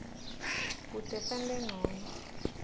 kute sente ncono